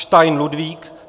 Stein Ludvík